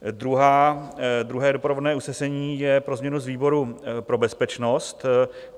Druhé doprovodné usnesení je pro změnu z výboru pro bezpečnost.